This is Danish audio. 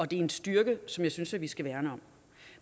det er en styrke som jeg synes at vi skal værne om